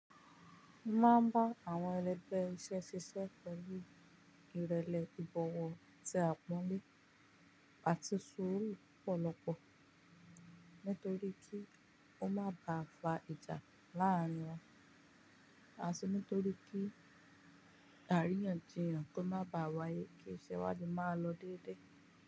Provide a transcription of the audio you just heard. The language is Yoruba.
Má bá àwọn ẹlẹgbẹ́ iṣẹ́ ṣiṣẹ́ pẹ̀lú ìrẹlẹ ìbọ̀wọ̀ tí apọ́nlé, àti sùúrù lópọ̀lópọ̀. Nítorí tí kó má ba à fa ìjà láàárín wọn. Àti nítorí kí àríyànjiyàn kó má ba à wáyé kí iṣẹ́ wa lè máa lọ déédé.